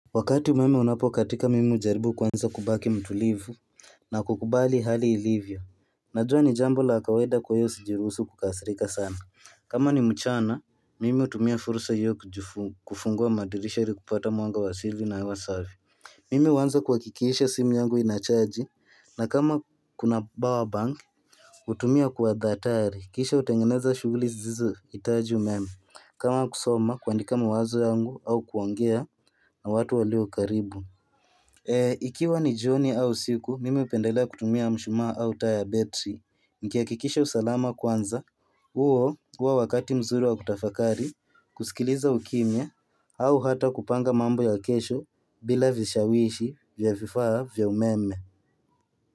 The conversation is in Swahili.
Wakati umeme unapokatika, mimi hujaribu kwanza kubaki mtulivu na kukubali hali ilivyo. Najua ni jambo la kawaida. Kwa hiyo sijiruhusu kukasirika sana. Kama ni mchana, mimi hutumia fursa hiyo kufungua madirisha iri kupata mwanga wa asili na hewa safi. Mimu huanza kuhakikisha simu yangu ina-charge, na kama kuna bawa bank, hutumia kwa dhahatari. Kisha hutengeneza shughuli zizohitaji umeme. Kama kusoma kuandika mawazo yangu au kuongea na watu waliokaribu. Ikiwa ni jioni au siku, mimi hupendelea kutumia mshumaa au taa ya betri. Nikiakikisha usalama kwanza. Huo huwa wakati mzuri wa kutafakari, kusikiliza ukimye au hata kupanga mambo ya kesho. Bila vishawishi vya vifaa vya umeme.